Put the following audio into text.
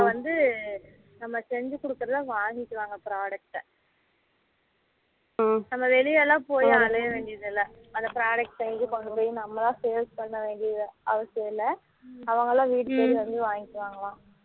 வந்து நம்ம செஞ்சி குடுக்குறதுலாம் வாங்கிப்பாங்க product நம்ம வெளியலாம் போய்அலய வேண்டியது இல்லை அந்த product இது கொண்டு போய் நம்ம தான் sale பன்ன வேண்டியதுலாம் அவசியம் இல்லை அவங்களா வந்து வீட்டுல வந்து வாங்கிப்பாங்கலாம்